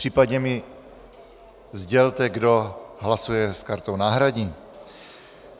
Případně mi sdělte, kdo hlasuje s kartou náhradní.